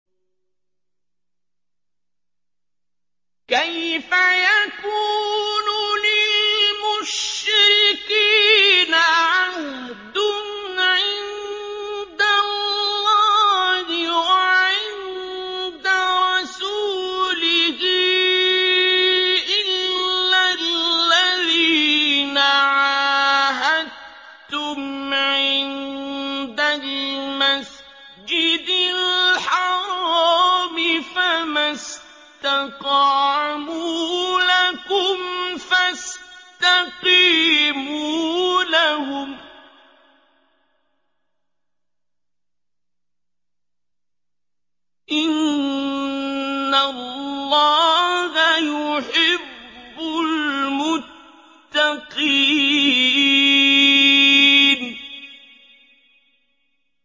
كَيْفَ يَكُونُ لِلْمُشْرِكِينَ عَهْدٌ عِندَ اللَّهِ وَعِندَ رَسُولِهِ إِلَّا الَّذِينَ عَاهَدتُّمْ عِندَ الْمَسْجِدِ الْحَرَامِ ۖ فَمَا اسْتَقَامُوا لَكُمْ فَاسْتَقِيمُوا لَهُمْ ۚ إِنَّ اللَّهَ يُحِبُّ الْمُتَّقِينَ